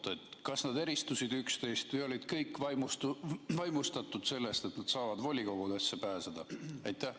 Kas need arvamused eristusid üksteisest või olid kõik vaimustatud sellest, et nad saavad volikogudesse pääseda?